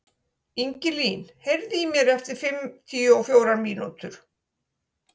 Ingilín, heyrðu í mér eftir fimmtíu og fjórar mínútur.